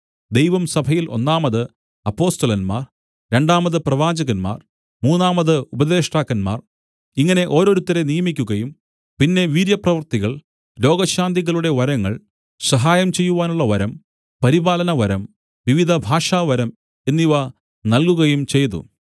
ദൈവം സഭയിൽ ഒന്നാമത് അപ്പൊസ്തലന്മാർ രണ്ടാമത് പ്രവാചകന്മാർ മൂന്നാമത് ഉപദേഷ്ടാക്കന്മാർ ഇങ്ങനെ ഓരോരുത്തരെ നിയമിക്കുകയും പിന്നെ വീര്യപ്രവൃത്തികൾ രോഗശാന്തികളുടെ വരങ്ങൾ സഹായം ചെയ്യുവാനുള്ള വരം പരിപാലനവരം വിവിധഭാഷാവരം എന്നിവ നല്കുകയും ചെയ്തു